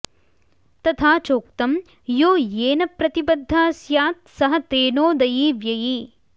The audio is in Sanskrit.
तथा चोक्तम् यो येन प्रतिबद्धः स्यात्सह तेनोदयी व्ययी